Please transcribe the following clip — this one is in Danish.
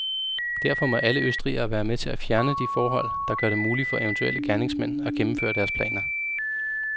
Derfor må alle østrigere være med til at fjerne de forhold, der gør det muligt for eventuelle gerningsmænd at gennemføre deres planer.